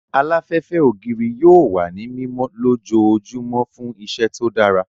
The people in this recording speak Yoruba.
Aláfẹ́fẹ́ ògiri yóò wà ní mímọ lójoojúmọ́ fún iṣẹ́ tó dára